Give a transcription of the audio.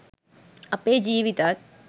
අපේ ජීවිතත්